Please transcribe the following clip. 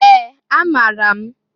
Ee! Amaara m.